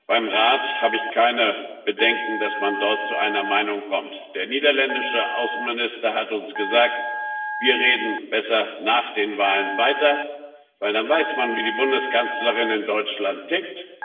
Beim Rat habe ich keine Bedenken, dass man dort zu einer Meinung kommt. Der niederländische Außenminister hat uns gesagt Wir reden besser nach den Wahlen weiter, weil man dann weiß, wie die Bundeskanzlerin in Deutschland tickt.